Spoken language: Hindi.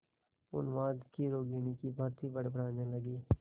उन्माद की रोगिणी की भांति बड़बड़ाने लगी